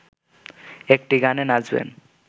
একটি গানে নাচবেন